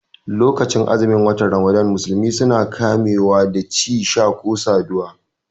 Lokacin azumin wata ramadana musulmai suna kame wa da ci, sha ko saduwa